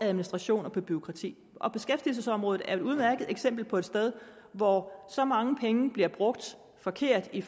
administration og bureaukrati og beskæftigelsesområdet er et udmærket eksempel på et sted hvor så mange penge bliver brugt forkert i